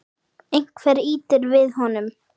Einhver ýtir við honum.